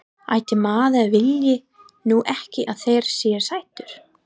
Ætli maður vilji nú ekki að þeir séu sætir.